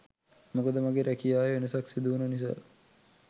මොකද මගේ රැකියාවේ වෙනසක් සිදුවුන නිසා